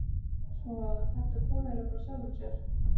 Svo þetta kom eiginlega bara af sjálfu sér.